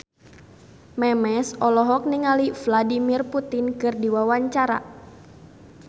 Memes olohok ningali Vladimir Putin keur diwawancara